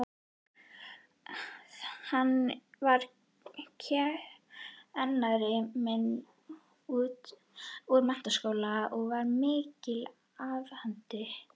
Hann var kennari minn úr menntaskóla og í miklu afhaldi.